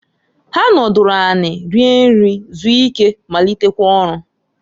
Ha nọdụlụ anị rie nri, zuo ike, malitekwa ọlụ.